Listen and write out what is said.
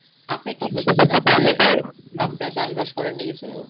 আপনি কি আপনি চাষ বাস করেন নি কিছু